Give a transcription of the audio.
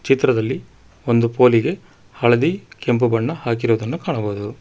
ಚಿತ್ರದಲ್ಲಿ ಒಂದು ಪೋಲಿ ಗೆ ಹಳದಿ ಮತ್ತು ಕೆಂಪು ಬಣ್ಣವನ್ನು ಹಾಕಿರುವುದನ್ನು ಕಾಣಬಹುದು.